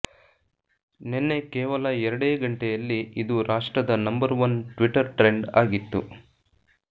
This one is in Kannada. ನೆನ್ನೆ ಕೇವಲ ಎರಡೇ ಗಂಟೆಯಲ್ಲಿ ಇದು ರಾಷ್ಟ್ರದ ನಂಬರ್ ಒನ್ ಟ್ವಿಟ್ಟರ್ ಟ್ರೆಂಡ್ ಆಗಿತ್ತು